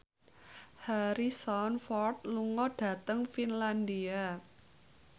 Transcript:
Harrison Ford lunga dhateng Finlandia